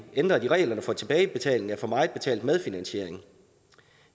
ændret i reglerne for tilbagebetaling af for meget betalt medfinansiering